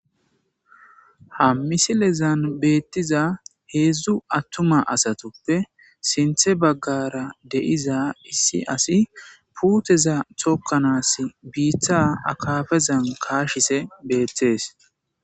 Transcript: Ha misilezan beetiza heedzdzu attuma asatuppe sinththe baggara de'iza issi asi puuteza tokkanaas biita akafazan kaashise beettees.